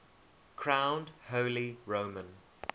crowned holy roman